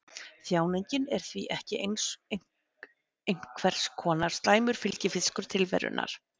Þjáningin er því ekki einhvers konar slæmur fylgifiskur tilverunnar.